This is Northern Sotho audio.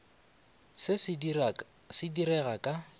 se se di rega ka